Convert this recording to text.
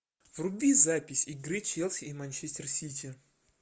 вруби запись игры челси и манчестер сити